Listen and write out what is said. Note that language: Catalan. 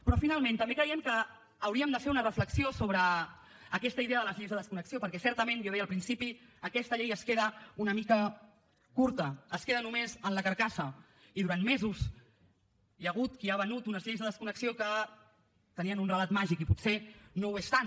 però finalment també creiem que hauríem de fer una reflexió sobre aquesta idea de les lleis de desconnexió perquè certament ja ho deia al principi aquesta llei es queda una mica curta es queda només en la carcassa i durant mesos hi ha hagut qui ha venut unes lleis de desconnexió que tenien un relat màgic i potser no ho és tant